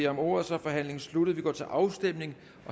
om ordet så er forhandlingen sluttet vi går til afstemning